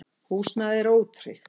Húsnæðið er ótryggt.